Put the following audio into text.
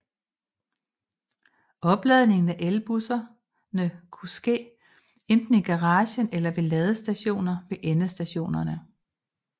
Opladningen af elbusserne kunne ske enten i garagen eller ved ladestationer ved endestationerne